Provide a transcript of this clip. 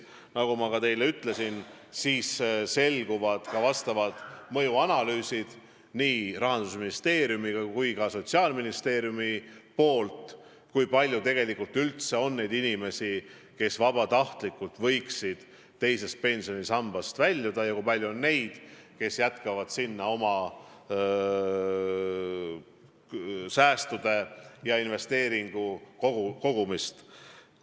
Nagu ma teile ütlesin, siis on tehtud ka nii Rahandusministeeriumi kui ka Sotsiaalministeeriumi mõjuanalüüsid, kui palju üldse võiks olla inimesi, kes vabatahtlikult teisest pensionisambast väljuvad, ja kui palju on neid, kes jätkavad sinna oma säästude kogumist.